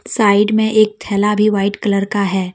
Side में एक थैला भी व्हाइट कलर का है।